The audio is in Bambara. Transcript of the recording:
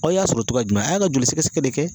Aw y'a sɔrɔ cogoya jumɛn a y'a ka joli sɛgɛsɛgɛ de kɛ.